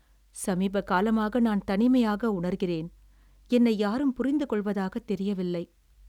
"சமீப காலமாக நான் தனிமையாக உணர்கிறேன். என்னை யாரும் புரிந்துகொள்வதாகத் தெரியவில்லை."